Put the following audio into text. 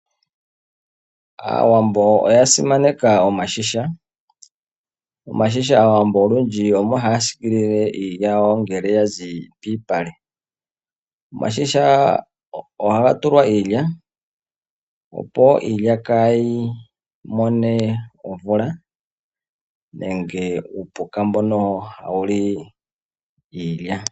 Aawambo oya simaneka omashisha/iigandhi, omashisha aawambo olundji omo haya siikilile iilya yawo ngele ya zi piipale. Omashisha ohaga tulwa iilya, opo iilya kaayi mone omvula nenge uupuka mbono hawu li iilya.